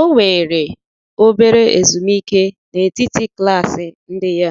O weere obere ezumike n'etiti klaasị ndị ya